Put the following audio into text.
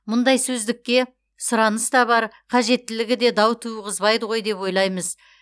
мұндай сөздікке сұраныс та бар қажеттілігі де дау туғызбайды ғой деп ойлаймыз